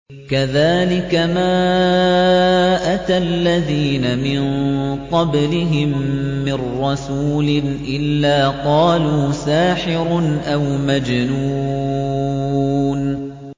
كَذَٰلِكَ مَا أَتَى الَّذِينَ مِن قَبْلِهِم مِّن رَّسُولٍ إِلَّا قَالُوا سَاحِرٌ أَوْ مَجْنُونٌ